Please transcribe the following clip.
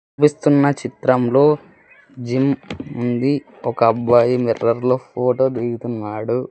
చిత్రంలో జిమ్ ఉంది ఒక అబ్బాయి మిర్రర్ లో ఫోటో దిగుతున్నాడు.